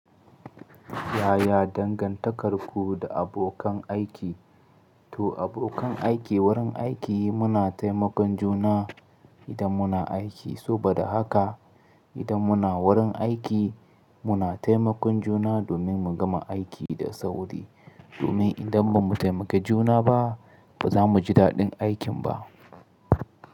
Yaya dangantakarku da abokan aiki? To abokan aiki wurin aiki muna taimakon juna idan muna aiki, saboda haka idan muna wurin aiki muna taimakon juna domin mu gama aiki da sauri. Domin idan ba mu taimaka juna ba ba za mu ji daɗin aikin ba.